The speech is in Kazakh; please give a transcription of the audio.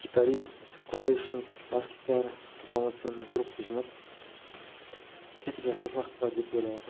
гитарист клавищник бас гитара полноценный группа жинап сөйтіп жасасақ деп